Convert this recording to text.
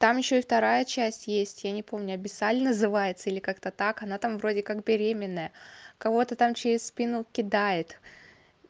там ещё и вторая часть есть я не помню абиссаль называется или как-то так она там вроде как беременная кого-то там через спину кидает